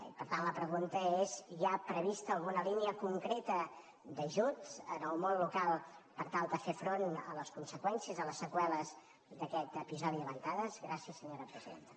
i per tant la pregunta és hi ha prevista alguna línia concreta d’ajut al món local per tal de fer front a les conseqüències de les seqüeles d’a·quest episodi de ventades gràcies senyora presidenta